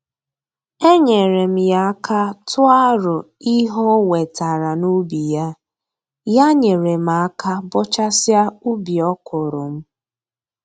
Enyeere m ya aka tụọ arọ ihe o wetara n'ubi ya, ya nyere m aka bọchasịa ubi ọkwụrụ m